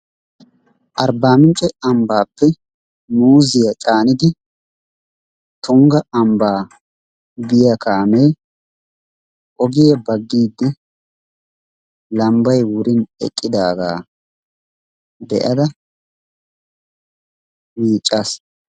Arba minccee ambappe muziya canniddi tungaa ambaa biyaa kamee ogiya bagidi lambay wurin eqidaggaa be'ada miccassi.